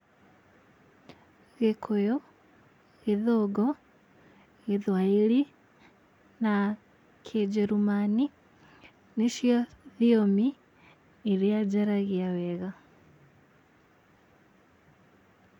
Gĩkũyũ, gĩthũngũ, gĩthwaĩri na kĩnjerumani nĩcio thiomi iria njaragia wega.